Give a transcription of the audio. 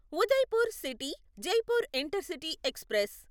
Udaipur city Jaipur intercity express